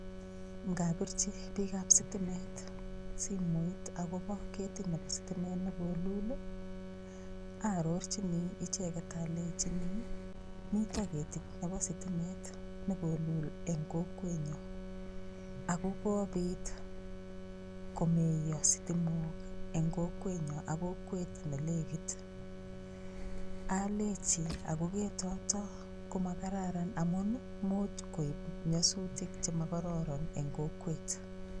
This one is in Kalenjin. Ngapirchi piikab sitimet simoit akobo ketit nebo sitimet ne kolul ii, arorchini icheket alechini mito ketit nebo sitimet ne kolul eng kokwenyo, ak ko kobit komeiyo sitimok eng kokwenyo ak kokwet ne lekit, alechi ako ketoto ko ma kararan amun ii much koib nyasutik che mokororon eng kokwet.